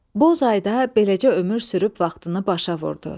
Boz ay da beləcə ömür sürüb vaxtını başa vurdu.